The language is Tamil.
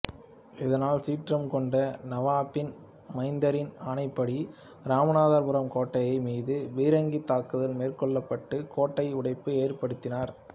இதனால் சீற்றம் கொண்ட நவாபின் மைந்தரின் ஆணைப்படி இராமநாதபுரம் கோட்டை மீது பீரங்கித் தாக்குதல் மேற்கொள்ளப்பட்டு கோட்டையில் உடைப்பை ஏற்படுத்தினர்